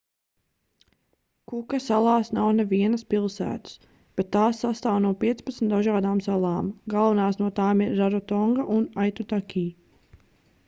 kuka salās nav nevienas pilsētas bet tās sastāv no 15 dažādām salām galvenās no tām ir rarotonga un aitutaki